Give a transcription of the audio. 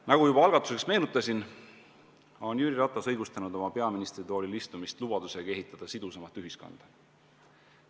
Nagu juba algatuseks meenutasin, on Jüri Ratas õigustanud oma peaministritoolil istumist lubadusega ehitada sidusamat ühiskonda.